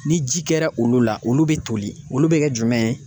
Ni ji kɛra olu la olu be toli olu bɛ kɛ jumɛn ye ?